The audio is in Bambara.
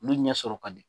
Olu ɲɛ sɔrɔ ka di